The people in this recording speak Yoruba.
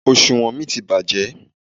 Òsùwọ́n mi ti bàjẹ́.